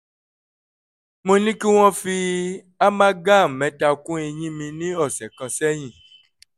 mo ní kí wọ́n fi amalgam mẹ́ta kún eyín mi ní ọ̀sẹ̀ kan sẹ́yìn